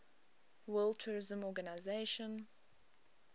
world tourism organization